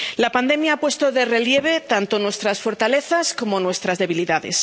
La pandemia ha puesto de relieve tanto nuestras fortalezas como nuestras debilidades.